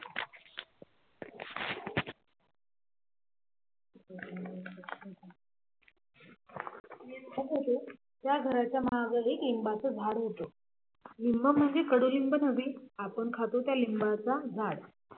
मी राहत होतो त्या घराच्या माघारी एक लिंबाचा झाड होतं लिंब म्हणजे कडुलिंब नव्हे आपण खातो त्या लिंबाचं झाड